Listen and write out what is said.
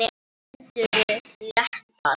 Þeir önduðu léttar.